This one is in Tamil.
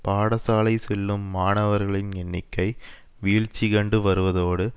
பாடசாலை செல்லும் மாணவர்களின் எண்ணிக்கை வீழ்ச்சி கண்டு வருவதோடு